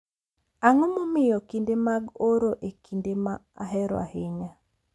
Ang’o momiyo kinde mag oro en kinde ma ahero ahinya.